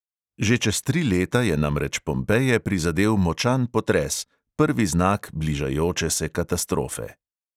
Že čez tri leta je namreč pompeje prizadel močan potres, prvi znak bližajoče se katastrofe.